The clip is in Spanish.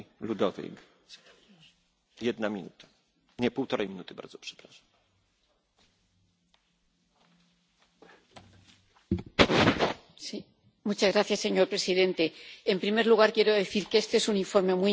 Señor presidente, en primer lugar, quiero decir que este es un informe muy importante, porque durante los últimos años la Unión Europea ha tenido que enfrentarse a varias catástrofes en forma de incendios, inundaciones, vendavales, terremotos o crisis migratorias.